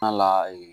la yen